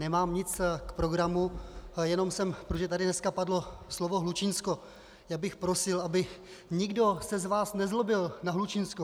Nemám nic k programu, jenom jsem, protože tady dneska padlo slovo Hlučínsko - já bych prosil, aby nikdo se z vás nezlobil na Hlučínsko.